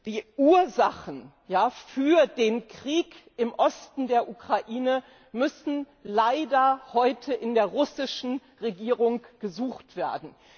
Die Ursachen für den Krieg im Osten der Ukraine müssen leider heute in der russischen Regierung gesucht werden.